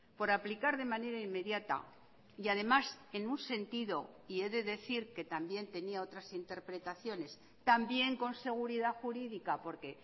por aplicar de manera inmediata y además en un sentido y he de decir que también tenía otras interpretaciones también con seguridad jurídica por que